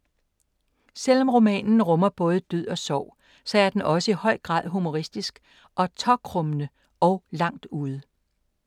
Selvom romanen rummer både død og sorg, så er den også i høj grad humoristisk. Og tåkrummende. Og langt ude.